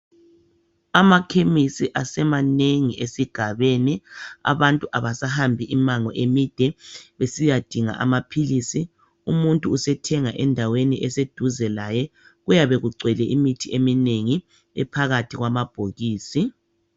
Amakhemesi asemanengi esigabeni abantu abasahambi imango emide besiyadinga amaphilisi umuntu usethenga endaweni eseduze laye kuyabekugcwele imithi eminengi ephakathi kwamabokisi.